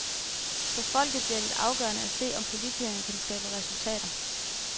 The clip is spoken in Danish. For folket bliver det afgørende at se, om politikerne kan skabe resultater.